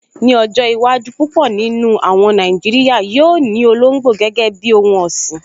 Ní ọjọ́ iwájú, púpọ̀ nínú àwọn Nàìjíríyà yóò ní olóngbò gẹ́gẹ́ bíi ohun ọ̀sìn